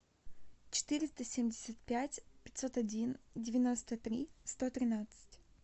четыреста семьдесят пять пятьсот один девяносто три сто тринадцать